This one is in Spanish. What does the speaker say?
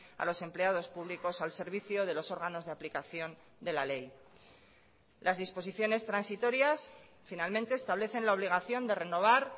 a los empleados públicos al servicio de los órganos de aplicación de la ley las disposiciones transitorias finalmente establecen la obligación de renovar